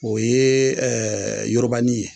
O ye yorobani ye